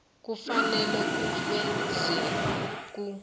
kufanele bufekselwe ku